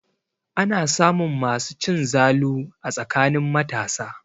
Ana samun masu cin zalu a tsakanin matasa.